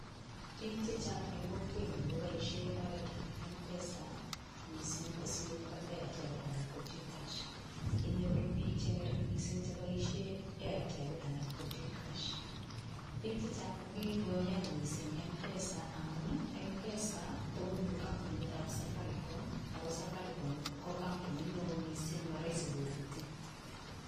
Bik chechang eng kokwenyo koboishe oret ab mpesa mising kosir Airtel anan ko T cash . Inyoru bik cheng'ering mising Airtel anan ko T cash. bik chechang ko kikoyan mising mpesa amun mpesa ko kampunit ab safaricom ako safaricom ko kampunit neo mising maraisi koputi.